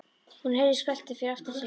Hún heyrði skröltið fyrir aftan sig.